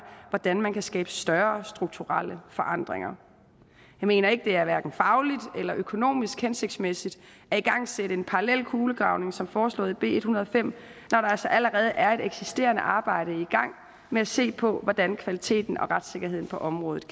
hvordan man kan skabe større strukturelle forandringer jeg mener ikke det er fagligt eller økonomisk hensigtsmæssigt at igangsætte en parallel kulegravning som foreslået i b en hundrede og fem når der altså allerede er et eksisterende arbejde i gang med at se på hvordan kvaliteten og retssikkerheden på området